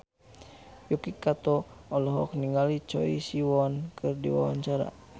Yuki Kato olohok ningali Choi Siwon keur diwawancara